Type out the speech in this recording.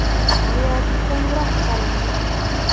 Nihoyat qo‘ng‘iroq chalindi.